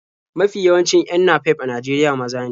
Mafi yawancin 'yan napep a Najeriya maza ne.